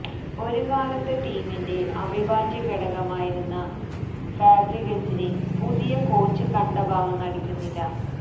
ഒരു കാലത്ത് ടീമിന്റെ അവിഭാജ്യ ഘടകമായിരുന്ന ഫാബ്രിഗസിനെ പുതിയ കോച്ച് കണ്ട ഭാവം നടിക്കുന്നില്ല